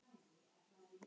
Það er megin mál hér.